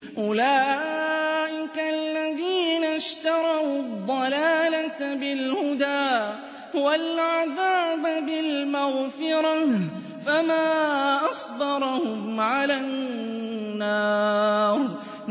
أُولَٰئِكَ الَّذِينَ اشْتَرَوُا الضَّلَالَةَ بِالْهُدَىٰ وَالْعَذَابَ بِالْمَغْفِرَةِ ۚ فَمَا أَصْبَرَهُمْ عَلَى النَّارِ